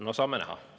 No saame näha.